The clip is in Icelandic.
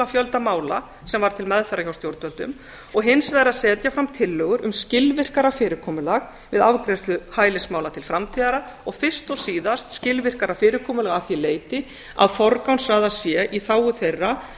fjölda mála sem var til meðferðar hjá stjórnvöldum og hins vegar að setja fram tillögur um skilvirkara fyrirkomulag við afgreiðslu hælismála til fram og fyrst og síðast skilvirkara fyrirkomulag að því leyti að forgangsraðað sé í þágu þeirra